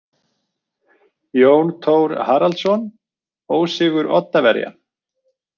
Jón Thor Haraldsson: Ósigur Oddaverja.